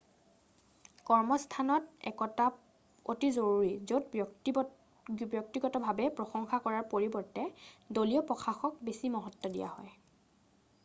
কৰ্মস্থানত একতা অতি জৰুৰী য'ত ব্যক্তিগত ভাৱে প্ৰসংশা কৰাৰ পৰিবৰ্তে দলীয় প্ৰয়াসক বেছি মহত্ব দিয়া হয়